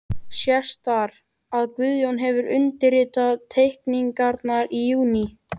Sést þar, að Guðjón hefur undirritað teikningarnar í júní